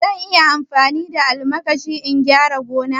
Zan iya amfani da almakashi in gyara gona?